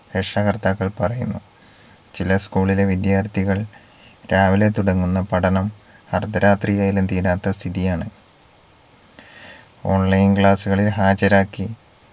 രക്ഷകർത്താക്കൾ പറയുന്നു ചില school ലെ വിദ്യാർത്ഥികൾ രാവിലെ തുടങ്ങുന്ന പഠനം അർദ്ധരാത്രിയായാലും തീരാത്ത സ്ഥിതിയാണ് online class ഉകളിൽ ഹാജരാക്കി